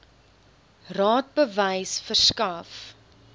raad bewys verskaf